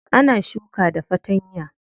Ana shuka da fatanya.